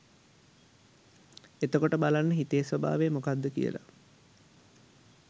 එතකොට බලන්න හිතේ ස්වභාවය මොකක්ද කියල.